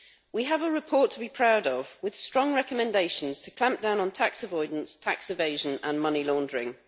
We have a report to be proud of, with strong recommendations to clamp down on tax avoidance, tax evasion and money laundering.